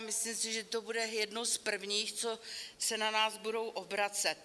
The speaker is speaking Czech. A myslím si, že to bude jedno z prvních, co se na nás budou obracet.